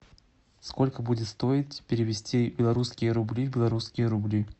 сколько будет стоить перевести белорусские рубли в белорусские рубли